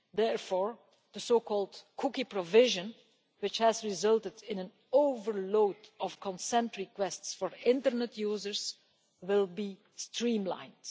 Therefore the so-called Cookie Provision, which has resulted in an overload of consent requests for internet users, will be streamlined.